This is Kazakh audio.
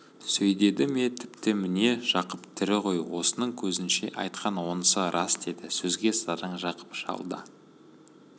сөйдеді ме тіпті міне жақып тірі ғой осының көзінше айтқан онысы рас деді сөзге сараң жақып шал да